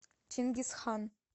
чингиз хан